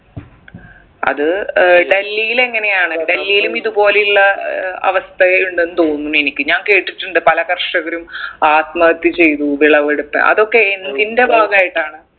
അത് ഏർ ഡൽഹിൽ എങ്ങനെയാണ് ഡൽഹിലും ഇതുപോലെയുള്ള ഏർ അവസ്ഥയുണ്ടെന്ന് തോന്നുന്നു എനിക്ക് ഞാൻ കേട്ടിട്ടുണ്ട് പല കർഷകരും ആത്മഹത്യ ചെയ്തു വിളവെടുത്ത് അതൊക്കെ എന്തിന്റെ ഭാഗമായിട്ടാണ്